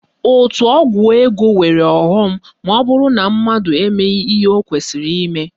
Òtù ọgwụ ego nwere ọghọm maọbụrụ na mmadụ emeghị ihe o kwesịrị ime